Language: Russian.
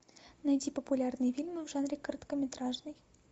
найти популярные фильмы в жанре короткометражные